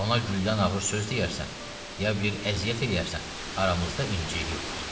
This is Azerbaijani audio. Ona güldən ağır söz deyərsən, ya bir əziyyət eləyərsən, aramızda inciklik olar.